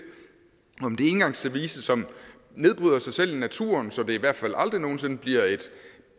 om det er engangsservice som nedbryder sig selv i naturen så det i hvert fald aldrig nogen sinde bliver et